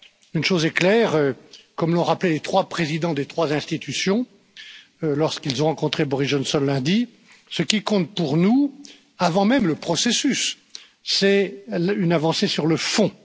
Une chose est claire, comme l'ont rappelé les trois présidents des trois institutions lorsqu'ils ont rencontré Boris Johnson lundi, ce qui compte pour nous, avant même le processus, c'est une avancée sur le fond.